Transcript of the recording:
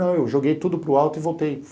Não, eu joguei tudo para o alto e voltei.